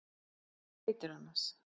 Hvað heitirðu annars?